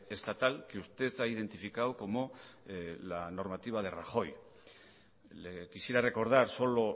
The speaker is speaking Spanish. estatal que usted ha identificado como la normativa de rajoy le quisiera recordar solo